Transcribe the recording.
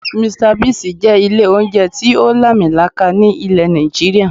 "Mr Bigs" jẹ́ ilé oúnjẹ tí ó làmì laaka ní ilẹ̀ Nàìjíríà